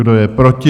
Kdo je proti?